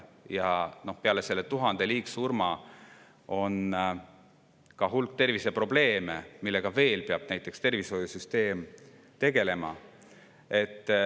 Ja peale selle 1000 liigsurma on veel hulk terviseprobleeme, millega peab tervishoiusüsteem tegelema.